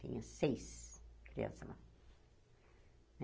Tinha seis crianças lá.